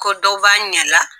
Ko dɔ b'a ɲɛ la